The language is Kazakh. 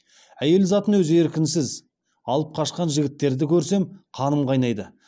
әйел затын өз еркінсіз алып қашқан жігіттерді көрсем қаным қайнайды